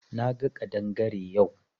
Na ga kadangare yau.